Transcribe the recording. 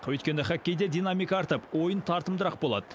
өйткені хоккейде динамика артып ойын тартымдырақ болады